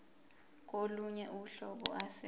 kolunye uhlobo ase